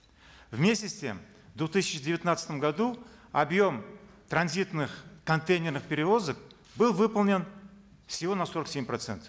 вместе с тем в две тысячи девятнадцатом году объем транзитных контейнерных перевозок был выполнен всего на сорок семь процентов